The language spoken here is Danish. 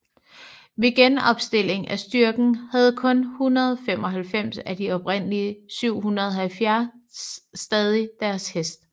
Ved genopstilling af styrken havde kun 195 af de oprindelige 670 stadig deres hest